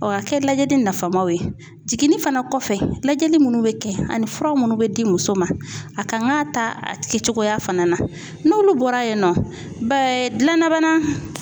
O ka kɛ lajɛli nafamaw ye o ye jiginini fana kɔfɛ lajɛli munnu be kɛ ani fura munnu bɛ di muso ma, a kan ka ta a kɛcogoya fana na, n'olu bɔra yen nɔ gilanna bana